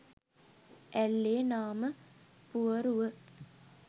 ඇල්ලේ නාමපුවරුව